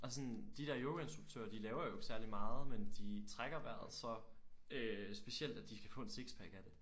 Og sådan de der yogainstruktører de laver jo ikke særligt meget men de trækker vejret så øh specielt at de kan få en sixpack af det